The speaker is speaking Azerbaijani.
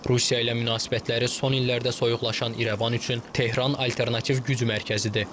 Rusiya ilə münasibətləri son illərdə soyuqlaşan İrəvan üçün Tehran alternativ güc mərkəzidir.